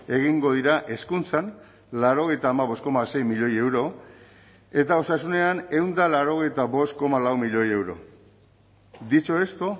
egingo dira hezkuntzan laurogeita hamabost koma sei milioi euro eta osasunean ehun eta laurogeita bost koma lau milioi euro dicho esto